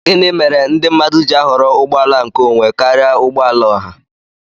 Gịnị méré ndị mmadụ ji ahọrọ ụgbọ àlà nké ònwé karịa ụgbọala ọhà?